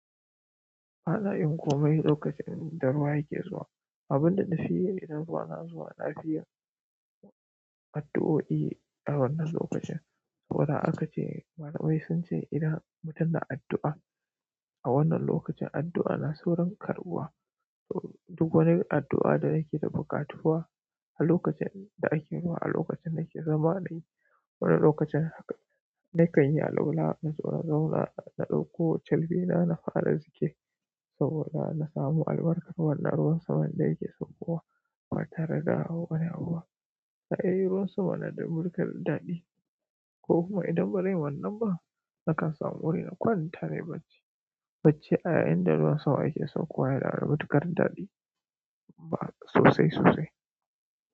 Bana iya yin komai lokacin da ruwa yake zuwa abunda nafi yi idan ruwa na zuwa, na fi yin addu'oi a wannan lokacin, ko nan aka ce, malami sun ce idan mutum na addu'a a wannan lokacin, addu'a na saurin karɓuwa. Duk wani addu'a da nake da buƙatuwa a lokacin da ake ruwa a lokacin da nake zamanin wannan lokacin haka. Ni kan yi allola, in zo in zauna, na ɗauko carbi na, na fara zikiri saboda na samu albarkar wannan ruwan saman da yake saukowa. Ba tare da wani abu ba, ai ruwan sama na da wani kalan daɗi. Ko kuma idan ba ran yi wannan ba, nakan samu wuri na kwanata nayi bacci. Bacci a yayin da ruwan sama yake saukowa yana da matuƙar daɗi ba sosai sosai.